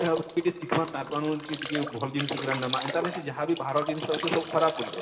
ଟିକେ ଶିଖମା ତାର ଠାନୁ ଟିକେ ଭଲ ଜିନିଷ ଗୁଡାକ ନେମା ଏନତା ନେଇସେ ଯାହା ବି ବାହାରର ଜିନିଷ ଅଉଛେ ସବୁ ଖରାପ ବଳି କରି?